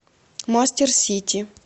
мастер сити